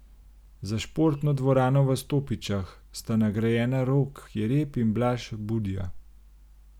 Za športno dvorano v Stopičah sta nagrajena Rok Jereb in Blaž Budja.